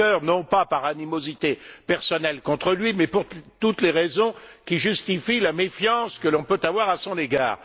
Juncker, non pas par animosité personnelle contre lui, mais pour toutes les raisons qui justifient la méfiance que l'on peut avoir à son égard.